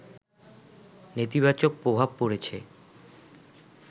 নেতিবাচক প্রভাব পড়েছে